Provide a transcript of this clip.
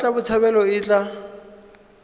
ya mmatla botshabelo e tla